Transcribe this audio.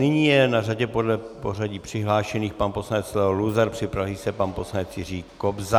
Nyní je na řadě podle pořadí přihlášených pan poslanec Leo Luzar, připraví se pan poslanec Jiří Kobza.